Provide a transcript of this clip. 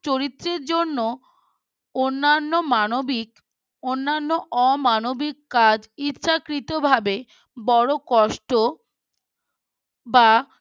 চরিত্রের জন্য অন্যান্য মানবিক অন্যান্য অমানবিক কাজ ইচ্ছাকৃতভাবে বড় কষ্ট বা